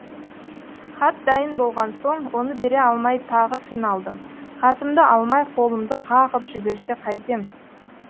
хат дайын болған соң оны бере алмай тағы қиналдым хатымды алмай қолымды қағып жіберсе қайтем